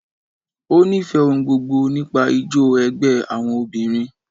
Ó ń nífẹ̀ẹ́ ohun gbogbo nípa ijó ẹgbẹ́ àwọn obìnrin.